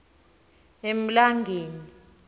emlangeni